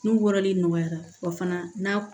N'u wɔrɔli nɔgɔyara wa fana na